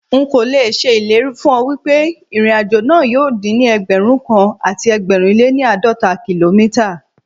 Nkò l'èṣe ìlérí fún ọ wípé ìrìn àjò náà yóò dín ní Ẹgbẹ̀rún kan àti ẹgbẹ̀rin lé ní àádọ́ta kìlómítà.